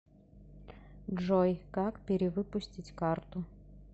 джой как пере выпустить карту